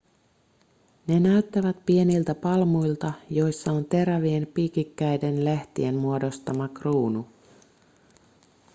ne näyttävät pieniltä palmuilta joissa on terävien piikikkäiden lehtien muodostama kruunu